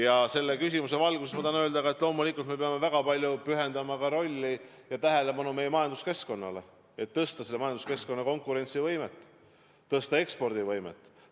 Ja selle küsimuse valguses ma tahan öelda ka, et loomulikult me peame väga palju tähelepanu pühendama meie majanduskeskkonnale, et tõsta selle konkurentsivõimet ja ekspordivõimet.